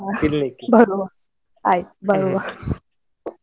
ಬರ್ವ ಹಾ ಆಯ್ತು ಬರ್ವ.